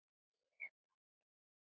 Ég man og ég man.